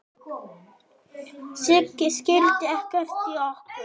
Sigga skildi ekkert í okkur.